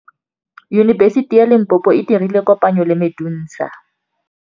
Yunibesiti ya Limpopo e dirile kopanyô le MEDUNSA.